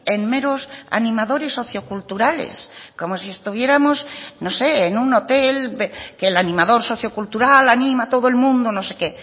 en meros animadores socio culturales como si estuviéramos no sé en un hotel que el animador socio cultural anima a todo el mundo no sé qué